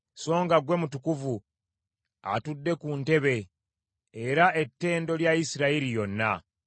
Songa ggwe Mutukuvu atudde ku Ntebe, era ettendo lya Isirayiri yonna.